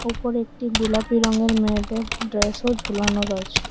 উপরে একটি গুলাপি রঙের মেয়েদের ড্রেসও ঝুলানো রয়েছে।